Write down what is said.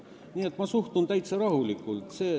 Nii et ma suhtun sellesse täiesti rahulikult.